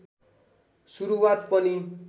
सुरुवात पनि